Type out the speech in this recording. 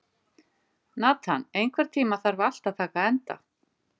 Nathan, einhvern tímann þarf allt að taka enda.